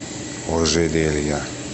ожерелья